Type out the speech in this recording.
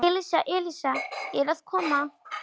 Elísa, Elísa, ég er að koma